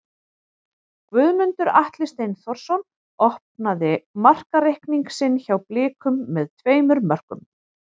Guðmundur Atli Steinþórsson opnaði markareikning sinn hjá Blikum með tveimur mörkum.